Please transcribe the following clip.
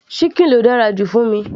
síkìn ló dára jù fún mi